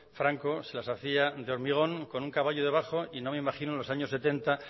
franco se las hacía de hormigón con un caballo debajo y no me imagino a